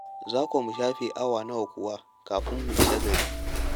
Za ko mu shafe awa nawa kuwa kafin mu isa gari?